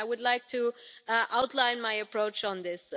I would like to outline my approach on this.